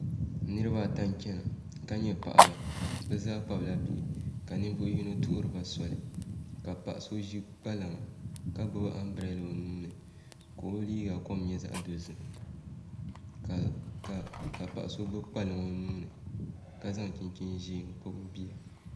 Niraba ata n chɛna ka nyɛ paɣaba bi zaa kpabila bihi ka ninvuɣu yino tuhuriba soli ka paɣa so ʒi kpalaŋa ka gbubi anbirɛla o nuuni ka o liiga kom nyɛ zaɣ dozim ka paɣa so gbubi kpalaŋ o nuuni ka zaŋ chinchin ʒiɛ n kpabi o bia